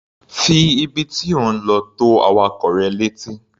Fi ibi tí ò ń lọ tó awakọ̀ rẹ létí.